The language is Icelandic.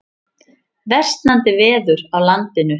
Versnandi veður á landinu